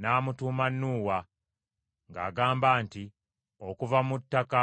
n’amutuuma Nuuwa, ng’agamba nti, “Okuva mu ttaka